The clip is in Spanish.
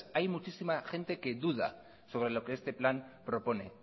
hay muchísima gente que duda sobre lo que este plan propone